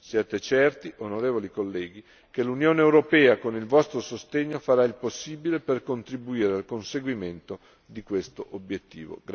Siate certi, onorevoli colleghi, che l'Unione europea, con il vostro sostegno, farà il possibile per contribuire al conseguimento di questo obiettivo.